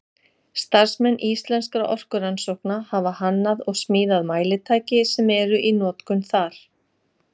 Starfsmenn Íslenskra orkurannsókna hafa hannað og smíðað mælitæki sem eru í notkun þar.